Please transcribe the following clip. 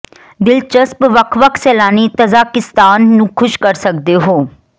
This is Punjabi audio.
ਦਿਲਚਸਪ ਵੱਖ ਵੱਖ ਸੈਲਾਨੀ ਤਜ਼ਾਕਿਸਤਾਨ ਨੂੰ ਖ਼ੁਸ਼ ਕਰ ਸਕਦੇ ਹੋ